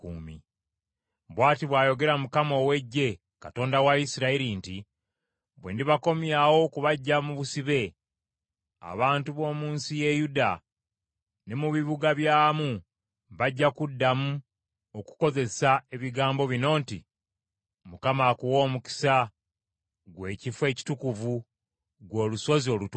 Bw’ati bw’ayogera Mukama ow’Eggye, Katonda wa Isirayiri nti, “Bwe ndibakomyawo okubaggya mu busibe, abantu b’omu nsi ye Yuda ne mu bibuga byamu bajja kuddamu okukozesa ebigambo bino nti, ‘ Mukama akuwe omukisa, ggwe ekifo ekitukuvu, ggwe olusozi olutukuvu.’